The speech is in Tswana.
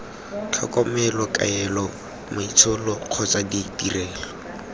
tlhokomelo kaelo maitsholo kgotsa ditirelo